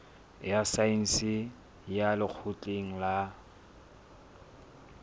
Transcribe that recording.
ya saense ya lekgotleng la